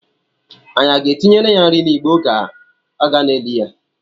Anyị aga-etinyere ya nri n'igbe oge a na-eli ya?